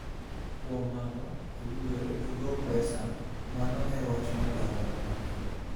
kuom mano owinjore odwok pesa, mano en wach ma dwarore mapiyo.